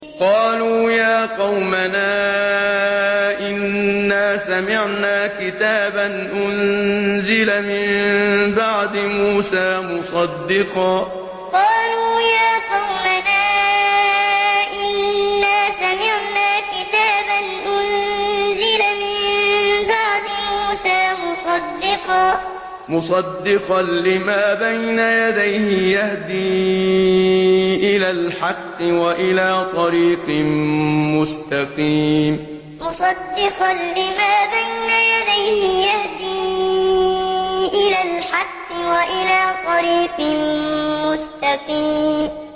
قَالُوا يَا قَوْمَنَا إِنَّا سَمِعْنَا كِتَابًا أُنزِلَ مِن بَعْدِ مُوسَىٰ مُصَدِّقًا لِّمَا بَيْنَ يَدَيْهِ يَهْدِي إِلَى الْحَقِّ وَإِلَىٰ طَرِيقٍ مُّسْتَقِيمٍ قَالُوا يَا قَوْمَنَا إِنَّا سَمِعْنَا كِتَابًا أُنزِلَ مِن بَعْدِ مُوسَىٰ مُصَدِّقًا لِّمَا بَيْنَ يَدَيْهِ يَهْدِي إِلَى الْحَقِّ وَإِلَىٰ طَرِيقٍ مُّسْتَقِيمٍ